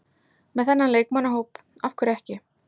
Með þennan leikmannahóp, af hverju ekki?